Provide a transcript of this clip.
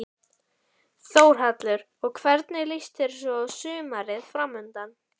Þórhallur: Og hvernig líst þér svo á sumarið framundan?